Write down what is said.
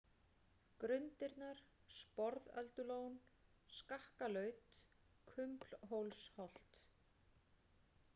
Grundirnar, Sporðöldulón, Skakkalaut, Kumblhólsholt